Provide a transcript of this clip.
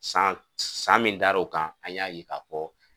San san min dar'o kan an y'a ye ka fɔ